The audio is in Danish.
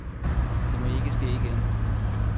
Det må ikke ske igen.